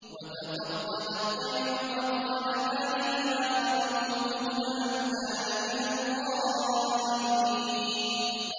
وَتَفَقَّدَ الطَّيْرَ فَقَالَ مَا لِيَ لَا أَرَى الْهُدْهُدَ أَمْ كَانَ مِنَ الْغَائِبِينَ